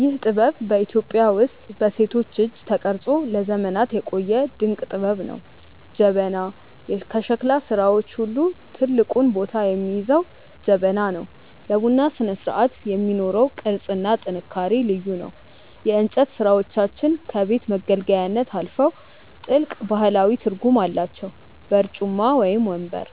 ይህ ጥበብ በኢትዮጵያ ውስጥ በሴቶች እጅ ተቀርጾ ለዘመናት የቆየ ድንቅ ጥበብ ነው። ጀበና፦ ከሸክላ ሥራዎች ሁሉ ትልቁን ቦታ የሚይዘው ጀበና ነው። ለቡና ስነስርዓት የሚኖረው ቅርጽና ጥንካሬ ልዩ ነው። የእንጨት ሥራዎቻችን ከቤት መገልገያነት አልፈው ጥልቅ ባህላዊ ትርጉም አላቸው። በርጩማ (ወንበር)፦